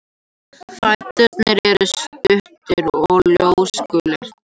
Fæturnir eru stuttir og ljósgulir.